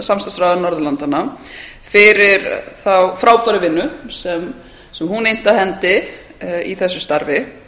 samstarfsráðherra norðurlandanna fyrir þá frábæru vinnu sem hún innti af hendi í þessu starfi